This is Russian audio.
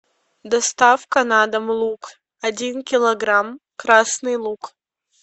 доставка на дом лук один килограмм красный лук